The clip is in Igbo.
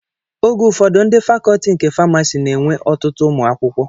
Oge ụfọdụ, ndị fakọtị nke famasi na-enwe ọtụtụ ụmụ akwụkwọ